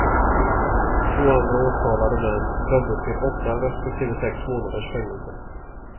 Två andra åtalade män dömdes till åtta respektive sex månaders fängelse.